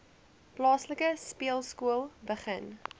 plaaslike speelskool begin